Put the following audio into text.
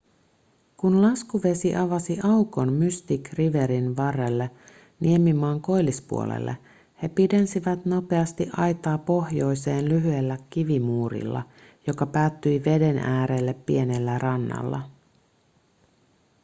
kun laskuvesi avasi aukon mystic riverin varrelle niemimaan koillispuolelle he pidensivät nopeasti aitaa pohjoiseen lyhyellä kivimuurilla joka päättyi veden äärelle pienellä rannalla